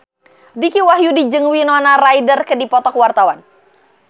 Dicky Wahyudi jeung Winona Ryder keur dipoto ku wartawan